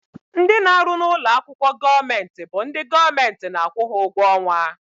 Ndị na-arụ n'ụlọakwụkwọ gọọmenti bụ ndị gọọmenti na-akwụ ha ụgwọ ọnwa